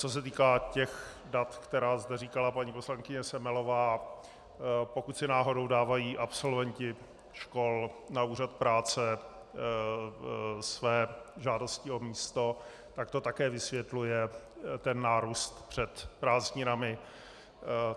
Co se týká těch dat, která zde říkala paní poslankyně Semelová, pokud si náhodou dávají absolventi škol na úřad práce své žádosti o místo, tak to také vysvětluje ten nárůst před prázdninami.